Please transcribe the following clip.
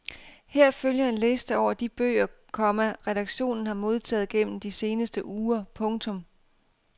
Her følger en liste over de bøger, komma redaktionen har modtaget gennem de seneste uger. punktum